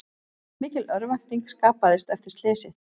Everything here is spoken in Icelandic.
Mikil örvænting skapaðist eftir slysið